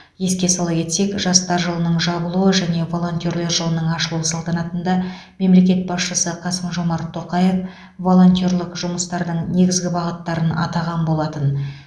еске сала кетсек жастар жылының жабылу және волонтер жылының ашылу салтанатында мемлекет басшысы қасым жомарт тоқаев волонтерлік жұмыстардың негізгі бағыттарын атаған болатын